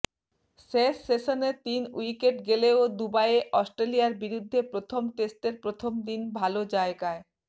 শেষ সেশনে তিন উইকেট গেলেও দুবাইয়ে অস্ট্রেলিয়ার বিরুদ্ধে প্রথম টেস্টের প্রথম দিন ভাল জায়গায়